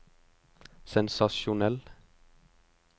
sensasjonell